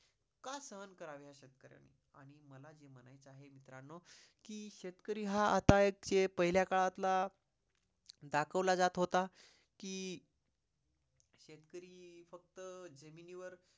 का सहन करावे या शेतकार्याने? आणि मला हे म्हणायचे आहे मित्रांनो कि शेतकरी हा आता एक पहिल्या काळातल्या दाखवला जात होता कि शेतकरी फक्त जमिनीवर